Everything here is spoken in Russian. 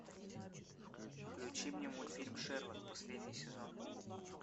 включи мне мультфильм шерлок последний сезон